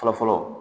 Fɔlɔ fɔlɔ